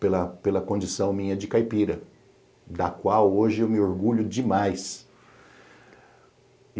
pela pela condição minha de caipira, da qual hoje eu me orgulho demais.